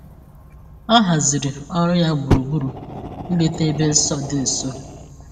O haziri ọrụ ya gburugburu ileta ebe nsọ dị nso.